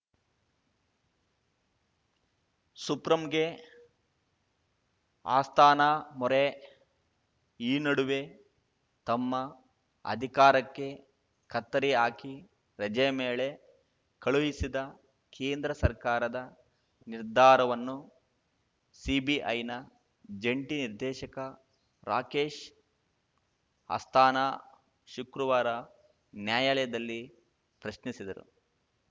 ಸುಪ್ರಂಗೆ ಅಸ್ಥಾನಾ ಮೊರೆ ಈ ನಡುವೆ ತಮ್ಮ ಅಧಿಕಾರಕ್ಕೆ ಕತ್ತರಿ ಹಾಕಿ ರಜೆ ಮೇಳೆ ಕಳುಹಿಸಿದ ಕೇಂದ್ರ ಸರ್ಕಾರದ ನಿರ್ಧಾರವನ್ನು ಸಿಬಿಐನ ಜಂಟಿ ನಿರ್ದೇಶಕ ರಾಕೇಶ್‌ ಅಸ್ಥಾನಾ ಶುಕ್ರವಾರ ನ್ಯಾಯಾಲಯದಲ್ಲಿ ಪ್ರಶ್ನಿಸಿದರು